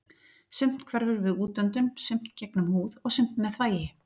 Sumt hverfur við útöndun, sumt gegnum húð og sumt með þvagi.